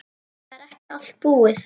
Það er ekki allt búið.